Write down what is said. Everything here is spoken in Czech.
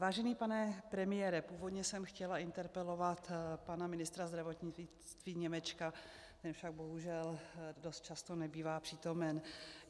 Vážený pane premiére, původně jsem chtěla interpelovat pana ministra zdravotnictví Němečka, ten však bohužel dost často nebývá přítomen.